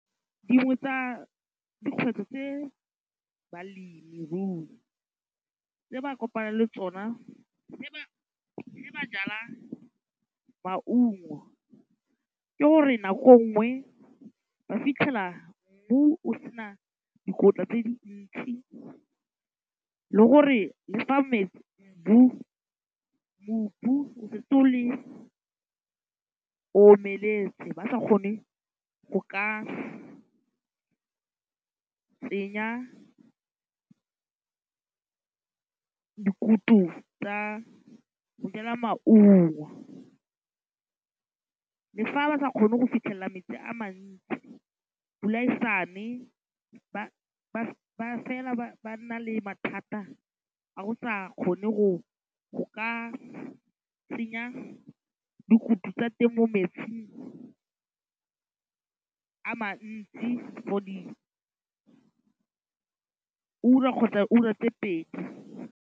Dingwe tsa dikgwetlho tse balemirui tse ba kopanang le tsona ba jala maungo ke gore nako nngwe ba fitlhela mmu o se na dikotla tse dintsi le gore le fa mobu o setse o le o omeletse ba sa kgone go ka tsenya dikutu tsa go jala maungo, le fa ba sa kgone go fitlhelela metsi a mantsi pula e sa ne ba nna le mathata a go sa kgone go ka tsenya dikutu tsa teng mo metsing a for diura kgotsa ura tse pedi.